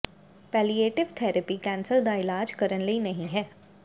palliative therapy cancer ਦਾ ਇਲਾਜ ਕਰਨ ਲਈ ਨਹੀਂ ਹੈ